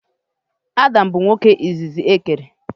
Adam bụ nwoke izizi e kere.